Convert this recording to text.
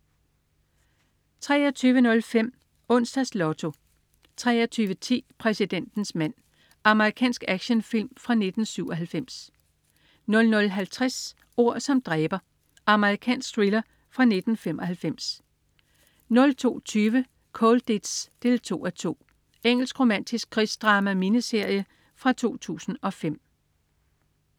23.05 Onsdags Lotto 23.10 Præsidentens mand. Amerikansk actionfilm fra 1997 00.50 Ord som dræber. Amerikansk thriller fra 1995 02.20 Colditz 2:2. Engelsk romantisk krigsdrama-miniserie fra 2005